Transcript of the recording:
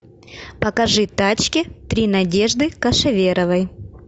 покажи тачки три надежды кошеверовой